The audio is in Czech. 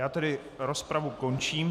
Já tedy rozpravu končím.